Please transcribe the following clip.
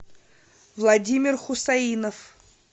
владимир хусаинов